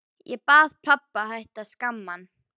Ég bað pabba að hætta að skamma hann.